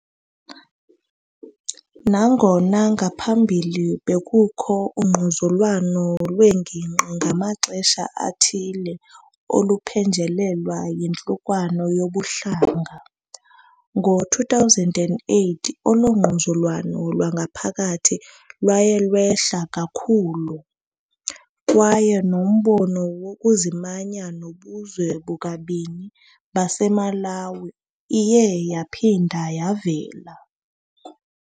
Nangona ngaphambili bekukho ungquzulwano lwengingqi ngamaxesha athile oluphenjelelwa yiyantlukwano yobuhlanga, ngo-2008 olu ngquzulwano lwangaphakathi lwaye lwehla kakhulu, kwaye nombono wokuzimanya nobuzwe bukabani baseMalawi iye yaphinda yavela.